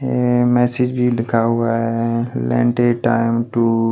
यह मैसेज भी लिखा हुआ है टाइम टू --